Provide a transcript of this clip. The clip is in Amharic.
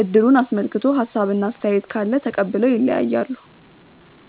እድሩን አስመልክቶ ሀሳብ እና አስተያየት ካለ ተቀብለው ይለያያሉ።